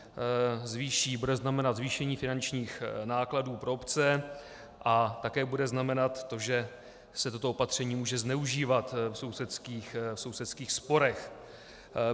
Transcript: Bude znamenat zvýšení finančních nákladů pro obce a také bude znamenat to, že se toto opatření může zneužívat v sousedských sporech.